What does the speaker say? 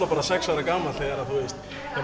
bara sex ára gamall þegar